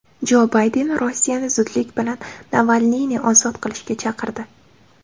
Jo Bayden Rossiyani zudlik bilan Navalniyni ozod qilishga chaqirdi.